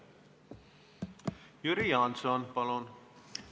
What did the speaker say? Jüri Jaanson, palun!